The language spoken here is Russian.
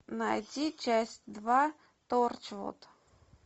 найди часть два торчвуд